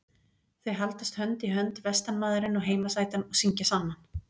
Þau haldast hönd í hönd vestanmaðurinn og heimasætan og syngja saman.